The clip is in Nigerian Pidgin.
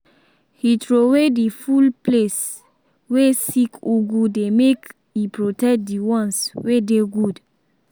he throwaway the full place way sick ugu dey make e protect the ones wey dey good